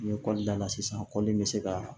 N ye kɔli da la sisan kɔli in bɛ se ka